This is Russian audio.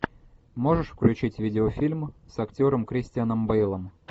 можешь включить видеофильм с актером кристианом бейлом